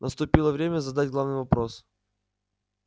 наступило время задать главный вопрос